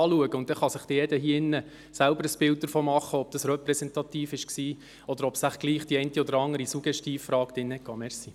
Dann kann sich jeder hier drin selbst ein Bild davon machen, ob dies repräsentativ war, oder ob vielleicht die eine oder andere Suggestivfrage dabei war.